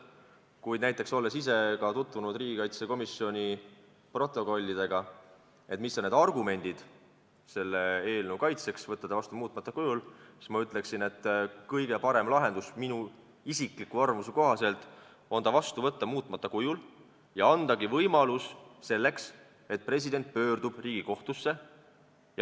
Kuid olles ise lugenud riigikaitsekomisjoni istungite protokollidest, mis on need argumendid selle seaduse kaitseks, miks võtta ta vastu muutmata kujul, ma ütleksin, et kõige parem lahendus minu isikliku arvamuse kohaselt on võtta ta vastu muutmata kujul ja anda võimalus selleks, et president pöörduks Riigikohtusse.